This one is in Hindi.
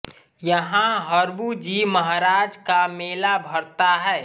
यहां हरबू जी महाराज का मेला भरता है